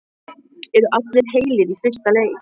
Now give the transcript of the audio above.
Eru allir heilir í fyrsta leik?